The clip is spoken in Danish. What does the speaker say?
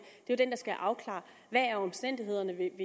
jo skal afklare omstændighederne